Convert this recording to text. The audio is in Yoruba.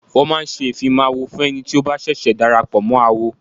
Wọ́n máa ń ṣe ìfimáwo fún ẹni tí ó bá ṣẹ̀ṣẹ̀ darapọ̀ mọ́ awo.